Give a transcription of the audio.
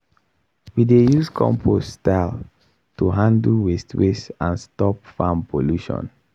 we dey use compost style to handle waste waste and stop farm pollution.